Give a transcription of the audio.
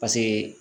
Paseke